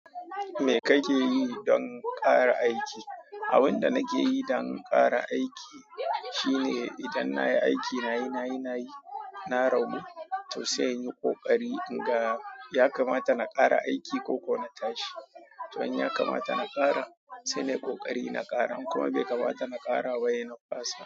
Me kake yi don ƙara aiki? Abin da nake yi don ƙara aiki shine idan na yi aiki, na yi, na yi, na yi, na ragu to sai inyi ƙoƙari in ga ya kamata na ƙara aiki ko ko na tashi. To in ya kamata na ƙara, sai nayi ƙoƙari na ƙara kuma bai kamata na ƙara ba yana fasa.